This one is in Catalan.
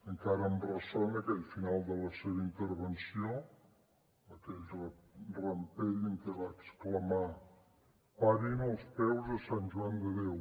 encara em ressona aquell final de la seva intervenció aquell rampell en què va exclamar parin els peus a sant joan de déu